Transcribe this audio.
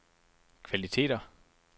kvaliteter